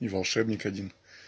и волшебник один